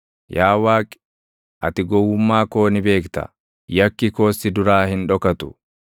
Yaa Waaqi, ati gowwummaa koo ni beekta; yakki koos si duraa hin dhokatu.